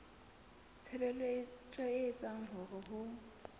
tshebetso e etsang hore ho